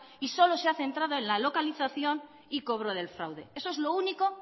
y solo se ha centrado en la localización y cobro del fraude eso es lo único